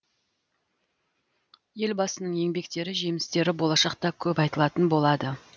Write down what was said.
елбасының еңбектері жемістері болашақта көп айтылатын болады